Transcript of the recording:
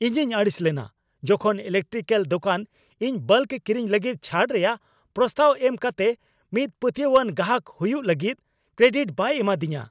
ᱤᱧᱤᱧ ᱟᱹᱲᱤᱥ ᱞᱮᱱᱟ ᱡᱚᱠᱷᱚᱱ ᱤᱞᱮᱠᱴᱨᱤᱠᱮᱞ ᱫᱳᱠᱟᱱ ᱤᱧ ᱵᱟᱞᱠ ᱠᱤᱨᱤᱧ ᱞᱟᱹᱜᱤᱫ ᱪᱷᱟᱹᱲ ᱨᱮᱭᱟᱜ ᱯᱨᱚᱥᱛᱟᱵᱽ ᱮᱢ ᱠᱟᱛᱮ ᱢᱤᱫ ᱯᱟᱹᱛᱭᱟᱹᱣᱟᱱ ᱜᱟᱦᱟᱠ ᱦᱩᱭᱩᱜ ᱞᱟᱹᱜᱤᱫ ᱠᱨᱮᱰᱤᱴ ᱵᱟᱭ ᱮᱢᱟᱫᱤᱧᱟᱹ ᱾